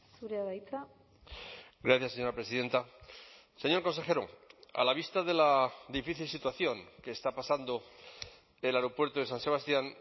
zurea da hitza gracias señora presidenta señor consejero a la vista de la difícil situación que está pasando el aeropuerto de san sebastián